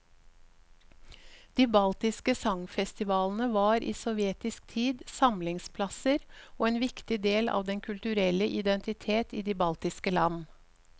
De baltiske sangfestivalene var i sovjetisk tid samlingsplasser og en viktig del av den kulturelle identitet i de baltiske land.